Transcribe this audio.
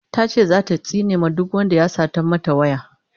tace zata tsine ma duk Wanda ya Satan mata waya